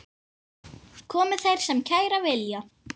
Komi þeir sem kæra vilja.